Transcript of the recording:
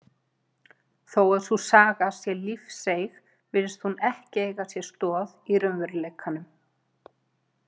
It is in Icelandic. Þó að sú saga sé lífseig virðist hún ekki eiga sér stoð í raunveruleikanum.